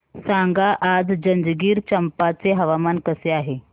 सांगा आज जंजगिरचंपा चे हवामान कसे आहे